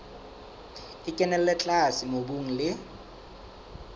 e kenella tlase mobung le